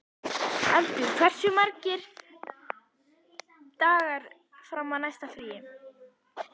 Eldur, hversu margir dagar fram að næsta fríi?